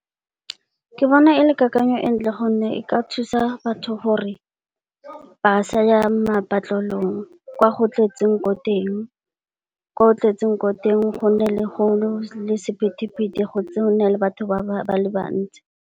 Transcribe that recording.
Ke bona e le kakanyo e ntle gonne, e ka thusa batho gore ba sa ya patlelong kwa go tletseng ko teng gonne gona le sephetephete go na le batho ba le bantsi.